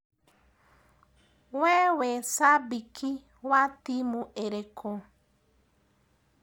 We wĩ cambĩki wa timũ ĩrĩkũ?